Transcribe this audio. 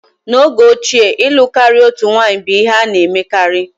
N'oge ochie ịlụ karịa otu nwanyị bụ ihe a na-emekarị.